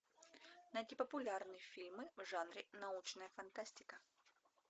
найти популярные фильмы в жанре научная фантастика